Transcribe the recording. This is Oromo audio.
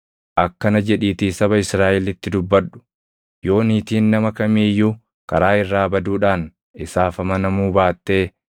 “Akkana jedhiitii saba Israaʼelitti dubbadhu: ‘Yoo niitiin nama kamii iyyuu karaa irraa baduudhaan isaaf amanamuu baattee